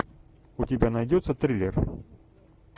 у тебя найдется триллер